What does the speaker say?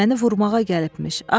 Məni vurmağa gəlibmiş.